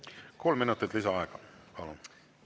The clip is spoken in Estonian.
Kolm minutit lisaaega, palun!